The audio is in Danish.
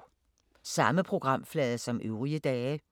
Samme programflade som øvrige dage